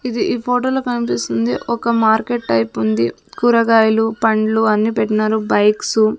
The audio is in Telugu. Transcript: ఇది ఈ ఫోటోలో కనిపిస్తుంది ఒక మార్కెట్ టైపు ఉంది కూరగాయలు పండ్లు అన్ని పెట్టినారు బైక్సు --